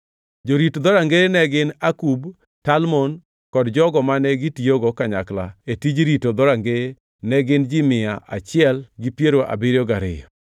Jorit dhorangeye ne gin: Akub, Talmon kod jogo mane gitiyogo kanyakla e tij rito dhorangeye ne gin ji mia achiel gi piero abiriyo gariyo (172).